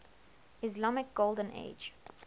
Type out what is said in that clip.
islamic golden age